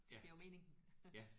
Ja. Ja